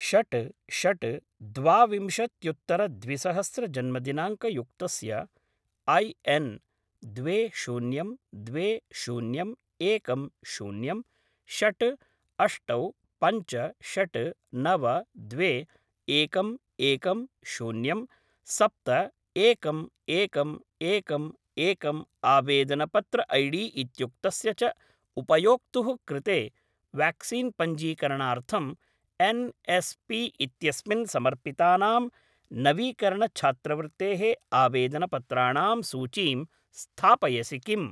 षट् षट् द्वा विंशत्युत्तर द्विसहस्र जन्मदिनाङ्कयुक्तस्य ऐ एन् द्वे शून्यं द्वे शून्यं एकं शून्यं षट् अष्टौ पञ्च षट् नव द्वे एकं एकं शून्यं सप्त एकम् एकम् एकम् एकम् आवेदनपत्र ऐडी इत्युक्तस्य च उपयोक्तुः कृते व्याक्सीन् पञ्जीकरणार्थं एन्.एस्.पी.इत्यस्मिन् समर्पितानां नवीकरणछात्रवृत्तेः आवेदनपत्राणां सूचीं स्थापयसि किम्?